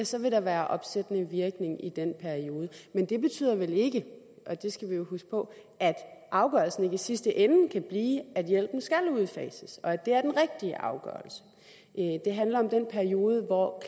så vil der være opsættende virkning i den periode men det betyder vel ikke og det skal vi jo huske på at afgørelsen ikke i sidste ende kan blive at hjælpen skal udfases og at det er den rigtige afgørelse det handler om den periode hvor